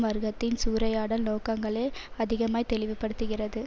வர்க்கத்தின் சூறையாடல் நோக்கங்களை அதிகமாய் தெளிவுபடுத்துகிறது